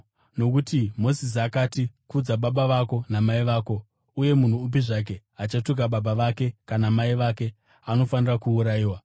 Nokuti Mozisi akati, ‘Kudza baba vako namai vako,’ uye ‘Munhu upi zvake achatuka baba vake kana mai vake anofanira kuurayiwa.’